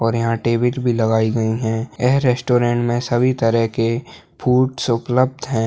और यहाँ टेबल भी लगाई गई है ये रेस्टोरेंट मे सभी तरह के फूड्स उपलब्ध है।